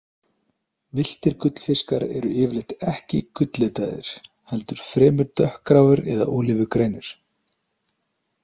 Villtir gullfiskar eru yfirleitt ekki gulllitaðir, heldur fremur dökkgráir eða ólífugrænir.